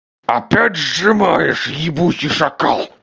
опять сжимаешь ебучий шакал